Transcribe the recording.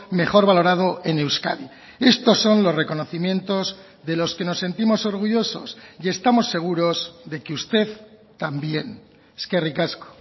mejor valorado en euskadi estos son los reconocimientos de los que nos sentimos orgullosos y estamos seguros de que usted también eskerrik asko